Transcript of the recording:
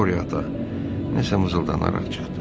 Qoriyo ata nəsə mızıldanaraq çıxdı.